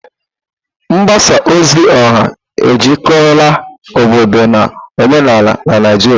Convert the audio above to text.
Mgbasa ozi ọha ejikọrọla obodo na omenala na Naijiria.